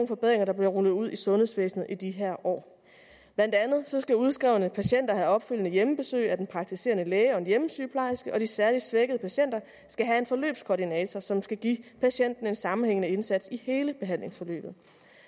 forbedringer der bliver rullet ud i sundhedsvæsenet i de her år blandt andet skal udskrevne patienter have opfølgende hjemmebesøg af den praktiserende læge og en hjemmesygeplejerske og de særlig svækkede patienter skal have en forløbskoordinator som skal give patienten en sammenhængende indsats i hele behandlingsforløbet